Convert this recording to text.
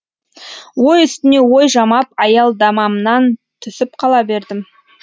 ой үстіне ой жамап аялдамамнан түсіп қала бердім